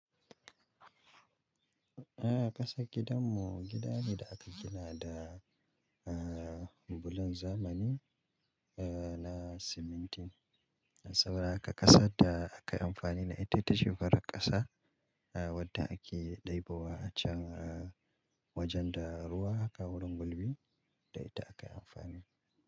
Eh ƙasa gidanmu gida ne da aka gina da, ah, bulon zamani, ah, na siminti. Saboda haka ƙasa da aka amfani da ita ta shafi farar ƙasa, ah, wadda ake ɗai ba wa a can wajen da ruwa aka wurin gulbi da ita aka amfani.